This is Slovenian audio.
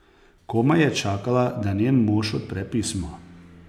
Komaj je čakala, da njen mož odpre pismo.